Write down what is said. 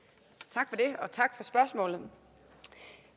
tak for